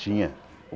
Tinha.